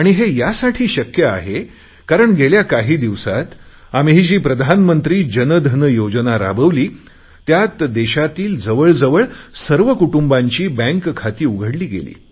हे यासाठी शक्य आहे कारण गेल्या काही दिवसात आम्ही जी प्रधानमंत्री जनधन योजना राबविली त्यात देशातील जवळजवळ सर्व कुटुंबांची बँक खाती उघडली गेली